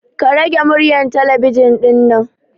Ka rage muryar talabijin ɗinnan